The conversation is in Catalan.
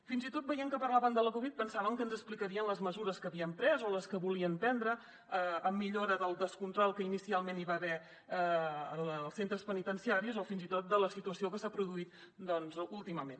fins i tot veient que parlaven de la covid pensàvem que ens explicarien les mesures que havien pres o les que volien prendre en millora del descontrol que inicialment hi va haver als centres penitenciaris o fins i tot de la situació que s’ha produït doncs últimament